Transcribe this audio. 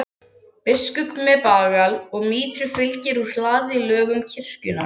Biskup með bagal og mítru fylgir úr hlaði lögum kirkjunnar.